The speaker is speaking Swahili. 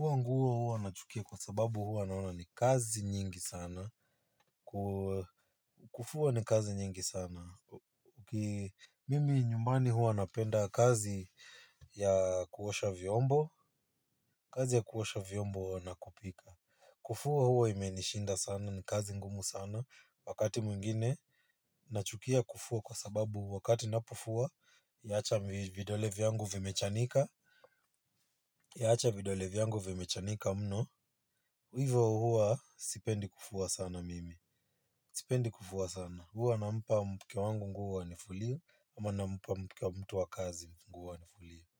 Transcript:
nguo huo nachukia kwa sababu huwa naona ni kazi nyingi sana. Kufua ni kazi nyingi sana. Mimi nyumbani huwa napenda kazi ya kuosha vyombo. Kazi ya kuosha vyombo na kupika. Kufua huwa imenishinda sana ni kazi ngumu sana wakati mwingine. Nachukia kufua kwa sababu wakati ninapofua yaacha vidole vyangu vimechanika. Yaacha vidole vyangu vimechanika mno. Hivyo huwa sipendi kufua sana mimi. Sipendi kufua sana. Huwa nampa mke wangu nguo anifulie ama nampa mke wa mtu wa kazi nguo anifulie.